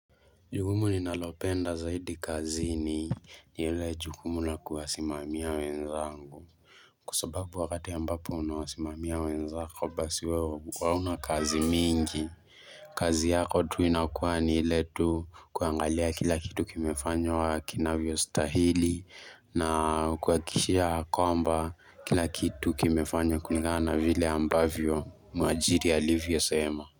Jukumu ninalopenda zaidi kazini ni ile jukumu na kuwasimamia wenzangu Kwa sababu wakati ambapo unawasimamia wenzako basi wewe hauna kazi mingi kazi yako tu inakuwa ni ile tu kuangalia kila kitu kimefanywa kinavyostahili na kuhakikishia kwamba kila kitu kimefanywa kulingana vile ambavyo mwajiri alivyosema.